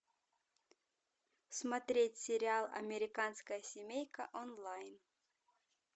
смотреть сериал американская семейка онлайн